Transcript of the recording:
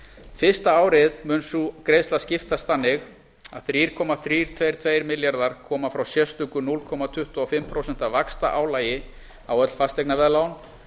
fyrsta árið mun sú greiðsla skiptast þannig að þrjú komma þrjú tveggja tveir milljarðar koma frá sérstöku núll komma tuttugu og fimm prósent vaxtaálagi á öll fasteignaveðlán